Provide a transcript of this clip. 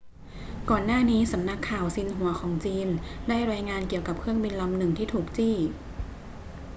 ก่อนหน้านี้ สำนักข่าวซินหัวของจีนได้รายงานเกี่ยวกับเครื่องบินลำหนึ่งที่ถูกจี้